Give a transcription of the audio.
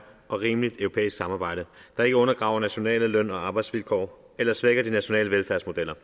og rimeligt europæisk samarbejde der ikke undergraver nationale løn og arbejdsvilkår eller svækker de nationale velfærdsmodeller